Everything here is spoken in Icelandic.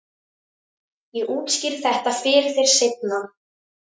Ég útskýri þetta fyrir þér seinna.